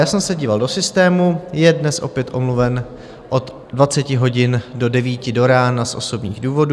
Já jsem se díval do systému, je dnes opět omluven od 20 hodin do 9 do rána z osobních důvodů.